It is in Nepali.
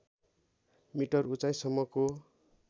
मिटर उचाइसम्मको